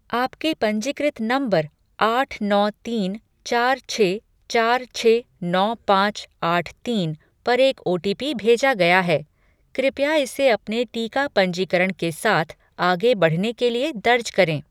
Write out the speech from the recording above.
आपके पंजीकृत नंबर आठ नौ तीन चार छः चार छः नौ पाँच आठ तीन पर एक ओटीपी भेजा गया है, कृपया इसे अपने टीका पंजीकरण के साथ आगे बढ़ने के लिए दर्ज करें